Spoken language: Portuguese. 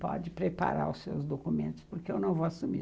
Pode preparar os seus documentos, porque eu não vou assumir.